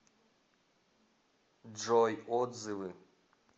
джой отзывы